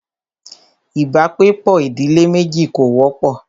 ibàgbepọ̀ ìdílé méjì kò wọ́pọ̀.